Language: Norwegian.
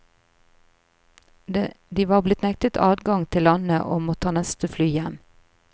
De var blitt nektet adgang til landet, og må ta neste fly hjem.